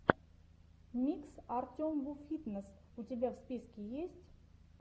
микс артемвуфитнесс у тебя в списке есть